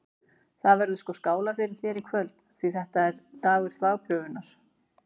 Það verður sko skálað fyrir þér í kvöld, því þetta er dagur þvagprufunnar!